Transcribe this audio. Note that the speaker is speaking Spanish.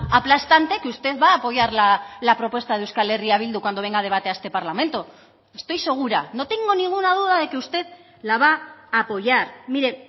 aplastante que usted va a apoyar la propuesta de euskal herria bildu cuando venga a debate a este parlamento estoy segura no tengo ninguna duda de que usted la va a apoyar mire